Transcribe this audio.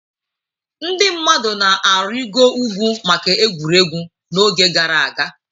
Ndị mmadụ na-arịịgo ugwu maka egwuregwu n'oge gara aga.